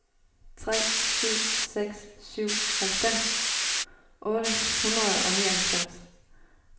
tre syv seks syv halvfems otte hundrede og nioghalvfems